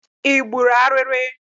Ị gburu ariri?